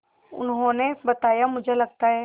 उन्होंने बताया मुझे लगता है